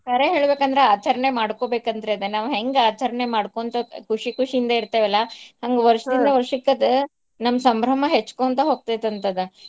ಕರೆ ಹೇಳ್ಬೇಕ್ ಅಂದ್ರ ಆಚರ್ಣೆ ಮಾಡ್ಕೋಬೇಕಂತ್ರಿ ಅದ್ನ ನಾವ್ ಹೆಂಗ ಆಚರ್ಣೇ ಮಾಡ್ಕೊಂತ್ ಖುಷಿ ಖುಷಿ ಇಂದ ಇರ್ತೇವಲ್ಲ ಹಂಗ್ ವರ್ಷದಿಂದ ವರ್ಷಕ್ ಅದು ನಮ್ ಸಂಭ್ರಮ ಹೆಚ್ಚಕೊಂತ ಹೋಗ್ತೇತ್ ಅಂತ್ ಅದ .